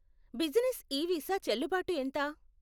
Business ఈ visa చెల్లుబాటు ఎంత?